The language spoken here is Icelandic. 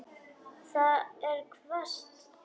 Það er hvasst.